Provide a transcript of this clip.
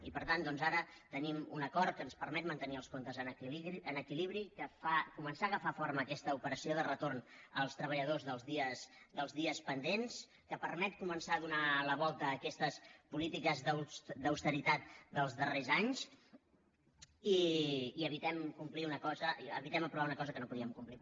i per tant doncs ara tenim un acord que ens permet mantenir els comptes en equilibri que fa començar a agafar forma aquesta operació de retorn als treballadors dels dies pendents que permet començar a donar la volta a aquestes polítiques d’austeritat dels darrers anys i evitem aprovar una cosa que no podíem complir